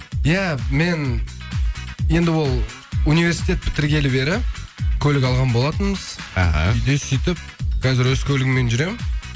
иә мен енді ол университет бітіргелі бері көлік алған болатынбыз аха үйде сөйтіп қазір өз көлігіммен жүремін